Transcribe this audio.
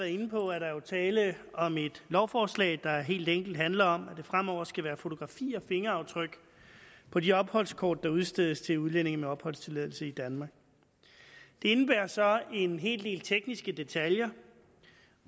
inde på er der er tale om et lovforslag der helt enkelt handler om at der fremover skal være fotografi af fingeraftryk på de opholdskort der udstedes til udlændinge med opholdstilladelse i danmark det indebærer så en hel del tekniske detaljer